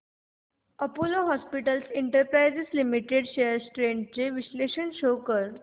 Apollo hospitals enterprise limited shares trends चे विश्लेषण show कर